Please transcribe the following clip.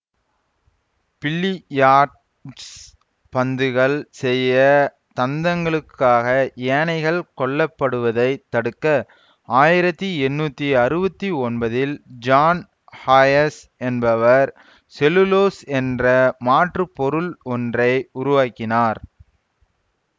billiards பந்துகள் செய்ய தந்தங்களுக்காக யானைகள் கொல்லப்படுவதைத் தடுக்க ஆயிரத்தி எண்ணூத்தி அறுவத்தி ஒன்பதில் ஜான் ஹயாத் என்பவர் செல்லுலோஸ் என்ற மாற்று பொருள் ஒன்றை உருவாக்கினார்